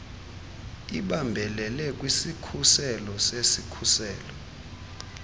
ibambelele kwisikhuselo sesikhuselo